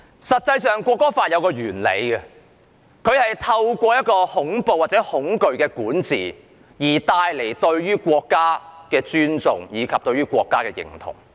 實際上，《條例草案》的理念，就是透過恐怖或恐懼管治帶來對國家的尊重及認同。